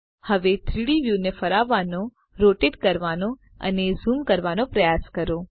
હવે 3ડી વ્યુને ફરાવવાનો રોટેટ કરવાનો અને ઝૂમ કરવાનો પ્રયાસ કરો